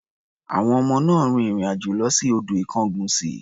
Àwọn ọmọ náà rin ìrìn-àjò lọ sí odò Ikongunsi.